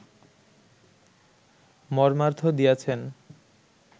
মর্মার্থ দিয়াছেন